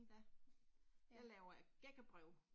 Ja. Jeg laver gækkebreve